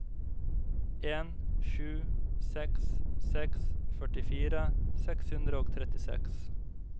en sju seks seks førtifire seks hundre og trettiseks